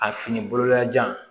A fini bololajan